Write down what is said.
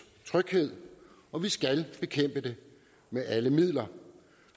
tryghed og vi skal bekæmpe det med alle midler